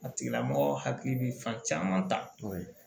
A tigila mɔgɔ hakili bi fan caman ta o ye